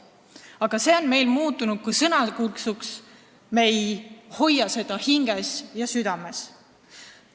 Aga see on muutunud sõnakõlksuks, me ei hoia seda hinges ja südames.